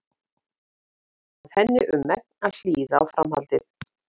Eftir aðeins fáein orð varð henni um megn að hlýða á framhaldið.